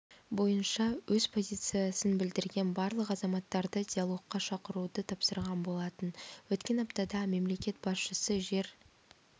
бойынша өз позициясын білдірген барлық азаматтарды диалогқа шақыруды тапсырған болатын өткен аптада мемлекет басшысы жер